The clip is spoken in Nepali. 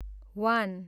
वान